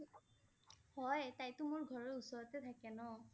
হয়, তাইটো মোৰ ঘৰৰ ওচৰতে থাকে ন।